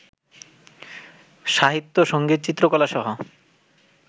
সাহিত্য, সংগীত, চিত্রকলাসহ